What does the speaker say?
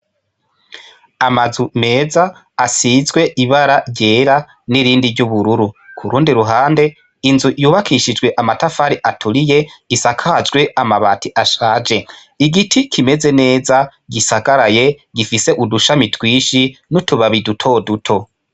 Amazu meza asizwe ibara ryera n'irindi ry'uburururu, ku rundi ruhande inzu yubakishijwe amatafari aturiye, isakajwe amabati ashaje. Igiti kimeze neza, gisagaraye gifise udushami twinshi n'utubabi dutoduto.